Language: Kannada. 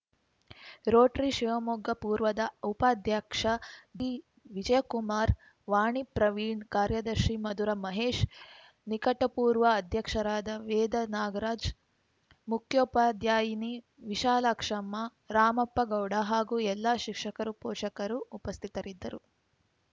ರೋಟರಿ ಶಿವಮೊಗ್ಗ ಪೂರ್ವದ ಉಪಾಧ್ಯಕ್ಷ ಜಿವಿಜಯಕುಮಾರ ವಾಣಿ ಪ್ರವೀಣ್‌ ಕಾರ್ಯದರ್ಶಿ ಮಧುರ ಮಹೇಶ್‌ ನಿಕಟಪೂರ್ವ ಅಧ್ಯಕ್ಷರಾದ ವೇದ ನಾಗರಾಜ್‌ ಮುಖ್ಯೋಪಾಧ್ಯಾಯಿನಿ ವಿಶಾಲಾಕ್ಷಮ್ಮ ರಾಮಪ್ಪಗೌಡ ಹಾಗೂ ಎಲ್ಲ ಶಿಕ್ಷಕರು ಪೋಷಕರು ಉಪಸ್ಥಿತರಿದ್ದರು